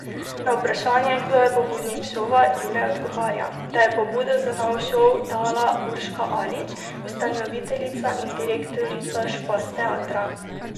Na vprašanje, kdo je pobudnik šova, Jure odgovori, da je pobudo za novi šov dala Urška Alič, ustanoviteljica in direktorica Špas teatra.